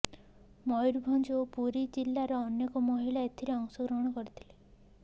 ମୟୁରଭଞ୍ଜ ଓ ପୁରୀ ଜିଲାର ଅନେକ ମହିଳା ଏଥିରେ ଅଂଶ ଗ୍ରହଣ କରିଥିଲେ